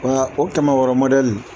Wa o kɛmɛ wɔɔrɔ mɔdali